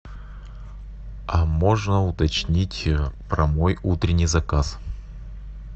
а можно уточнить про мой утренний заказ